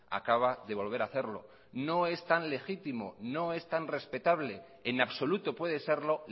acaba de volver a hacerlo no es tan legítimo no es tan respetable en absoluto puede serlo